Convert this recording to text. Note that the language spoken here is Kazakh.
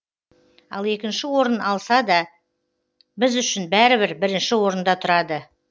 ал екінші орын алса да біз үшін бәрібір бірінші орында тұрады